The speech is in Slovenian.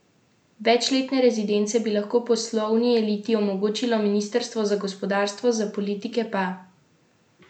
Večletne rezidence bi lahko poslovni eliti omogočalo ministrstvo za gospodarstvo, za politike pa predlagam možnost trajnega medkulturnega eksila.